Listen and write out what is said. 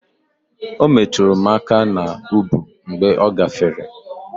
O metụrụ m aka n'ubu mgbe ọ gafere.